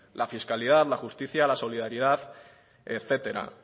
la fiscalidad la justicia la solidaridad etcétera